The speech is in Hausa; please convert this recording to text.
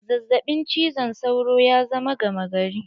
Zazzaɓin cizon sauro ya zama gama gari.